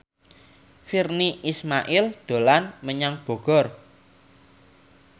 Virnie Ismail dolan menyang Bogor